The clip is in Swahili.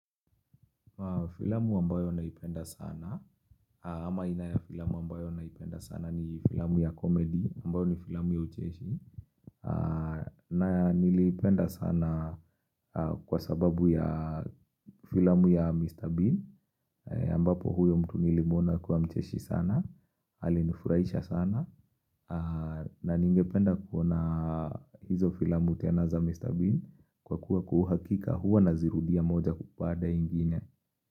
Filamu ambayo naipenda sana ama inayo filamu ambayo naipenda sana ni filamu ya comedy ambayo ni filamu ya ucheshi na niliipenda sana kwa sababu ya filamu ya Mr. Bean ambapo huyo mtu nilimuona kuwa mcheshi sana alinifurahisha sana na ningependa kuona hizo filamu tena za Mr. Bean kwa kuwa kwa uhakika huwa nazirudia moja kupanda ingine.